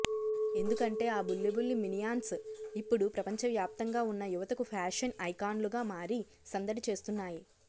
ఎందుకంటే ఆ బుల్లిబుల్లి మినియాన్స్ ఇప్పుడు ప్రపంచవ్యాప్తంగా ఉన్న యువతకు ఫ్యాషన్ ఐకాన్లుగా మారి సందడి చేస్తున్నాయి